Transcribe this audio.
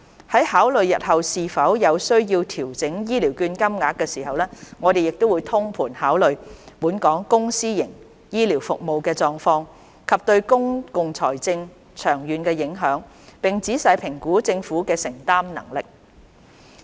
在考慮日後是否有需要調整醫療券金額時，我們會通盤考慮本港公私營醫療服務的狀況，以及對公共財政的長遠影響，並仔細評估政府的承擔能力。